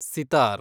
sitar